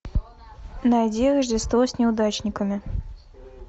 найди рождество с неудачниками